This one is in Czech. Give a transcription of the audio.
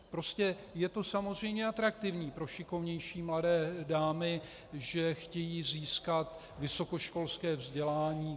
Prostě je to samozřejmě atraktivní pro šikovnější mladé dámy, že chtějí získat vysokoškolské vzdělání.